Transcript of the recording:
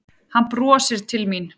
Hann brosir til mín.